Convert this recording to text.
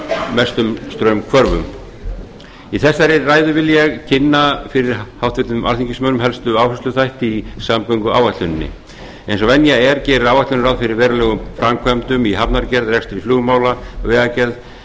mestum straumhvörfum í þessari ræðu vil ég kynna fyrir háttvirtum alþingismönnum helstu áhættuþætti í samgönguáætluninni eins og venja er gerir áætlunin ráð fyrir verulegum framkvæmdum í hafnargerð rekstri flugmála vegagerð